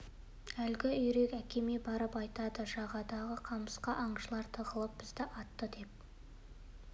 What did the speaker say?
әлгі үйрек әкеме барып айтады жағадағы қамысқа аңшылар тығылып бізді атты деп